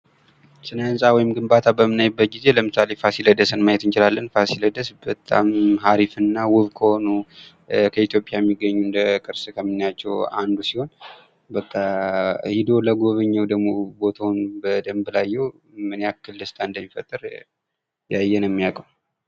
ስነ ህንጻ ወይም ግንባታ በምናይበት ጊዜ ለምሳሌ ፋሲለደስን ማየት እንችላለን ፋሲለደስ በጣም አሪፍና ውብ ከሆኑ ከኢትዮጵያ ሚገኙ እንደ ቅርስ ከምናያቸው አንዱ ሲሆን በቃ ሄዶ ለጉበኘው ደግሞ ቦታውን በደንብ ለአየሁ ምን ያክል ደስታ እንደሚፈጠር ያየ ነው የሚያውቀው ::